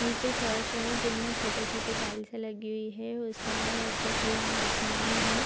निचे फर्श है जिनमे छोटे-छोटे टाइल्से लगी हुई है उसके अलावा उपर खुला आसमान है।